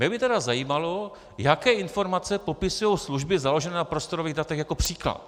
Mě by tedy zajímalo, jaké informace popisují služby založené na prostorových datech, jako příklad.